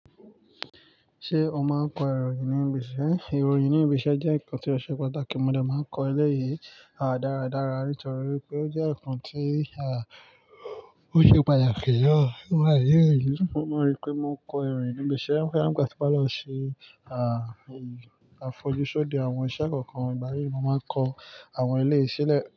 Ṣé o máa kọ ìròyìn ní ibi iṣẹ́? Ìròyìn ní ibi iṣẹ́ jẹ́ nǹkan tí ọ̀ṣẹ̀ pataki mọ̀ de máa kọ eleyìí dáradára, nítorí pé ó jẹ́ nǹkan tí ó ṣe pàtàkì na. Mo maa n ríi pé mo kọ ìròyìn ní ibi iṣẹ́, boya nígbà tí mo bá lọ ṣe àfọjúsode àwọn iṣẹ́ kọ̀ọ̀kan, ìgbà mìí ni mo máa kọ àwọn eleyii ṣílẹ̀